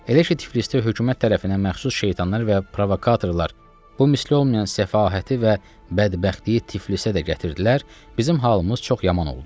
Elə ki Tiflisdə hökumət tərəfindən məxsus şeytanlar və provokatorlar bu müstəh olmayan səfahəti və bədbəxtliyi Tiflisə də gətirdilər, bizim halımız çox yaman oldu.